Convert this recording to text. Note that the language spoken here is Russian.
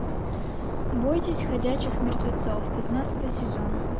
бойтесь ходячих мертвецов пятнадцатый сезон